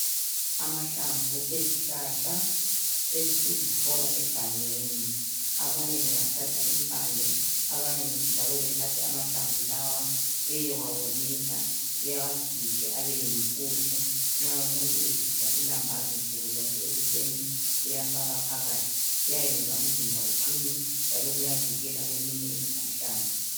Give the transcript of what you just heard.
Amahlamvu ezihlahla esizithola egangeni abanye bengathatha impande abanye njalo bethathe amahlamvu lawa beyewawomisa bewagige abeyimpuphu nxa umuntu esidla ilambazi nsukuzonke ekuseni uyafaka phakathi, kuyayenza umzimba uqine njalo kuyavikela kweminye imikhuhlane.